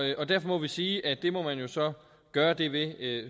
derfor må vi sige at det må man jo så gøre det ved